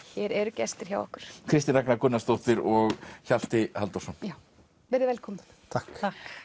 hér eru gestir hjá okkur Kristín Ragna Gunnarsdóttir og Hjalti Halldórsson verið velkomin takk